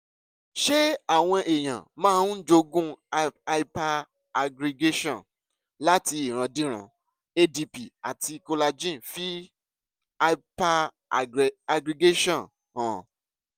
ṣé àwọn èèyàn máa ń jogún hyperaggregation láti ìrandíran? adp àti collagen fi hyperaggregation hàn